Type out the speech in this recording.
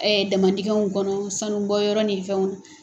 damandingɛnw kɔnɔ sanubɔ yɔrɔ nin fɛnw na.